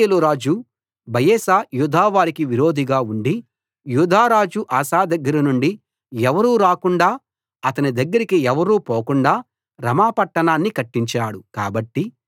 ఇశ్రాయేలు రాజు బయెషా యూదా వారికి విరోధిగా ఉండి యూదా రాజు ఆసా దగ్గరనుండి ఎవరూ రాకుండా అతని దగ్గరికి ఎవరూ పోకుండా రమా పట్టణాన్ని కట్టించాడు